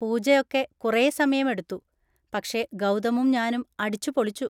പൂജ ഒക്കെ കുറേ സമയം എടുത്തു, പക്ഷെ ഗൗതമും ഞാനും അടിച്ചുപൊളിച്ചു.